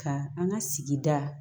Ka an ka sigida